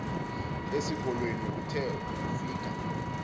esikolweni uthe ufika